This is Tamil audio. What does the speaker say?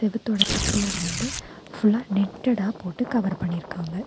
செவுத்தோட திட்ல வந்து ஃபுல்லா நெட்டடா போட்டு கவர் பண்ணிருக்காங்க.